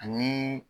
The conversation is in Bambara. Ani